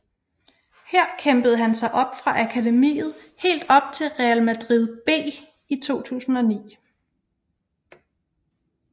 Her kæmpede han sig op fra akademiet helt op til Real Madrid B i 2009